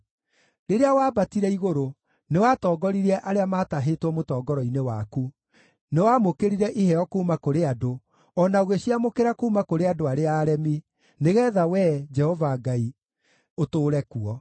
Rĩrĩa wambatire igũrũ, nĩwatongoririe arĩa maatahĩtwo mũtongoro-inĩ waku; nĩwamũkĩrire iheo kuuma kũrĩ andũ, o na ũgĩciamũkĩra kuuma kũrĩ andũ arĩa aremi, nĩgeetha Wee, Jehova Ngai, ũtũũre kuo.